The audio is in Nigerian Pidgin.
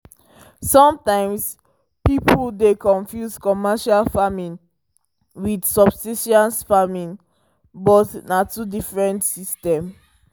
sometimes people dey confuse commercial farming with subsis ten ce farming but na two very diffrent system